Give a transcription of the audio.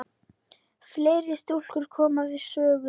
Fleiri stúlkur koma við sögu.